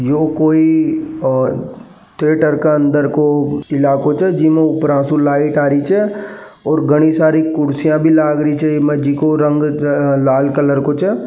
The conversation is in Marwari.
यो कोई और थिएटर के अंदर को इलाकों से जीनो ऊपर से लाइट आ रही हो छे और घनी सारी कुर्सियां भी लग रही छे जिको को रंग लाल कलर को छे।